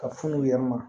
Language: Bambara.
Ka funu u yɛrɛ ma